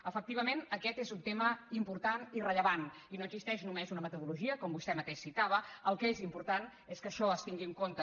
efectivament aquest és un tema important i rellevant i no existeix només una metodologia com vostè mateix citava el que és important és que això es tingui en compte